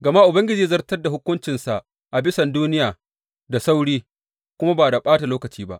Gama Ubangiji zai zartar da hukuncinsa a bisan duniya da sauri kuma ba da ɓata lokaci ba.